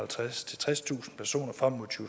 tredstusind personer frem mod to